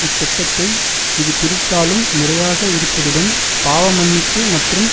இத்திட்டத்தை இது பிரித்தாளும் முறையாக இருப்பதுடன் பாவமன்னிப்பு மற்றும்